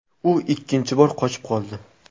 U ikkinchi bor qochib qoldi.